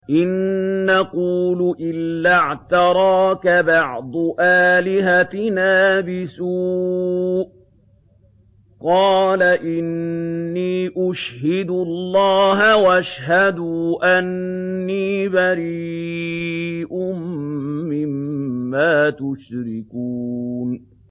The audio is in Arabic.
إِن نَّقُولُ إِلَّا اعْتَرَاكَ بَعْضُ آلِهَتِنَا بِسُوءٍ ۗ قَالَ إِنِّي أُشْهِدُ اللَّهَ وَاشْهَدُوا أَنِّي بَرِيءٌ مِّمَّا تُشْرِكُونَ